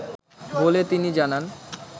বলে তিনি জানান